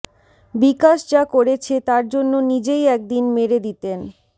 বিকাশ যা করেছে তার জন্য নিজেই একদিন মেরে দিতেন